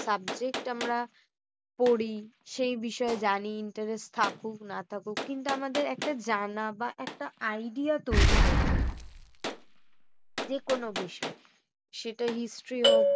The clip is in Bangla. subject আমরা পড়ি। সেই বিষয়ে জানি interest থাকুক না থাকুক কিন্তু আমাদের একটা জানা বা একটা idea তৈরি হয়ে যায়। যে কোনো বিষয় সেটা history হোক